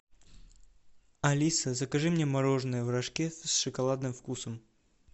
алиса закажи мне мороженое в рожке с шоколадным вкусом